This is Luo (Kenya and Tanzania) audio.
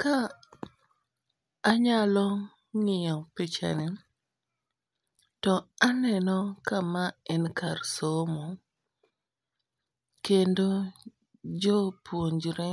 Ka anyalo ng'iyo picha ni to aneno ka ma en kar somo, kendo jopuonjre